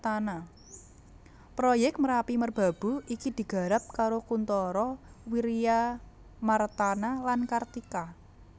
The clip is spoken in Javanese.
Proyèk Merapi Merbabu iki digarap karo Kuntara Wiryamartana lan Kartika